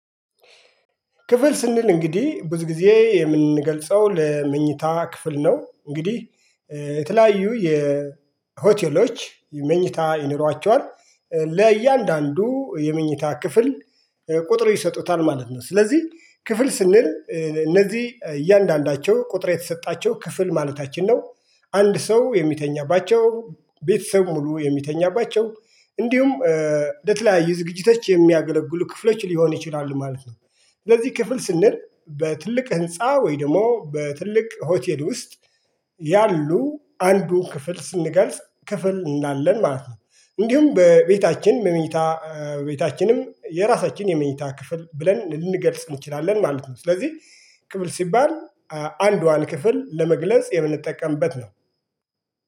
ክፍል ስንል እንግዲ ብዙ ጊዜ የምንገልጸው ለመኝታ ክፍል ነው እንግዲህ የተለያዩ የሆቴሎች መኝታ ይኖራቸዋል ለእያንዳንዱ የመኝታ ክፍል ቁጥር ይሰጡታል ማለት ነው ስለዚ ክፍል ስንል እነዚ እያንዳንዳቸው ቁጥር የተሰጣቸው ክፍል ማለታችን ነው። አንድ ሰው የሚተኛባቸው ቤተሰብ ሙሉ የሚተኛባቸው እንዲሁም ለተለያየ ዝግጅቶች የሚያገለግሉ ክፍሎች ሊሆን ይችላሉ ማለት ነው። ስለዚ ክፍል ስንል በትልቅ ህንፃ ወይ ደሞ በትልቅ ሆቴል ውስጥ ያሉ አንዱን ክፍል ስንገልጽ ክፍል እንላለን ማለት ነው። እንዲውም በቤታችን በመኝታ ቤታችንም የራሳችን የመኝታ ክፍል ብለን ልንገልጽ እንችላለን ማለት ነው። ስለዚ ክፍል ሲባል አንዷን ክፍል ለመግለጽ የምንጠቀምበት ነው